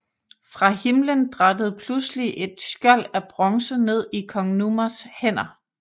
Fra himmelen drattede pludselig et skjold af bronze ned i kong Numas hænder